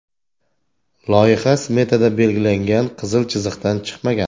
Loyiha smetada belgilangan qizil chiziqdan chiqmagan.